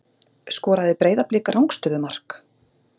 Skoraði Breiðablik rangstöðumark?